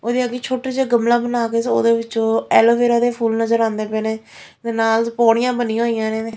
ਉਹਦੇ ਅਗੇ ਛੋਟਾ ਜਿਹਾ ਗਮਲਾ ਬਣਾ ਕੇ ਉਹਦੇ ਵਿੱਚੋਂ ਐਲੋਵੇਰਾ ਦੇ ਫੁੱਲ ਨਜ਼ਰ ਆਉਂਦੇ ਪਏ ਨੇ ਤੇ ਨਾਲ ਪਾਉਣੀਆਂ ਬਣੀਆਂ ਹੋਈਆਂ ਨੇ।